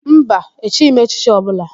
Mba, echighi m echichi ọbụla.